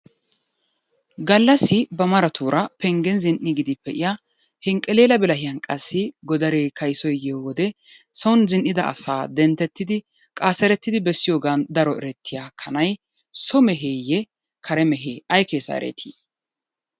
Gallassi ba maratuura penggen zin'iiggidi pee'iya henqqeleela bilahiyan qassi godaree kayisoy yiyo wode son zin'ida asaa denttidi qaaserettidi bessiyogan daro erettiya kanay so meheeyye kare mehee ayi keesaa ereeti?